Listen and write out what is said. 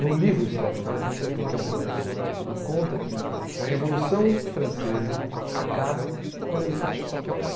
No livro, Stefano, por isso a importância da pessoa, ele conta que a Revolução Francesa acaba quando ele fecha essa porta.